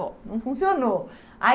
Bom, não funcionou. Aí